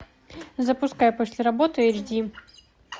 запускай после работы эйч ди